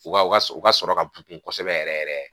U ka, u ka sɔrɔ ka bon kosɛbɛ yɛrɛ yɛrɛ.